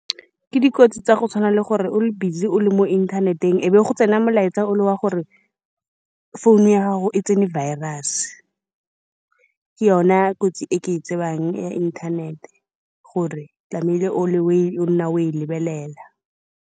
Ke di kotsi tsa go tshwana le gore o le busy o le mo inthaneteng, e be go tsena molaetsa o le wa gore founu ya gago e tsene virus-e. Ke yone kotsi e ke e tsebang ya inthanete, gore tlamehile o le oe, o nne o e lebelela.